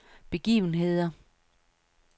begivenheder